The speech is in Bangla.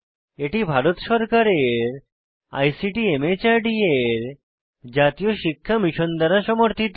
এটি ভারত সরকারের আইসিটি মাহর্দ এর জাতীয় শিক্ষা মিশন দ্বারা সমর্থিত